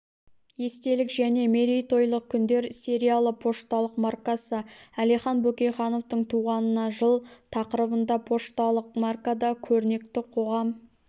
естелік және мерейтойлық күндер сериялы пошталық маркасы әлихан бөкейхановтың туғанына жыл тақырыбында пошталық маркада көрнекті қоғам